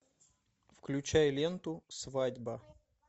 включай ленту свадьба